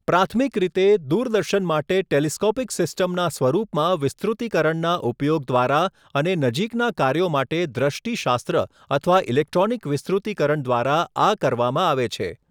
પ્રાથમિક રીતે, દૂરદર્શન માટે ટેલિસ્કોપિક સિસ્ટમના સ્વરૂપમાં વિસ્તૃતીકરણના ઉપયોગ દ્વારા અને નજીકનાં કાર્યો માટે દૃષ્ટિશાસ્ત્ર અથવા ઇલેક્ટ્રોનિક વિસ્તૃતીકરણ દ્વારા આ કરવામાં આવે છે.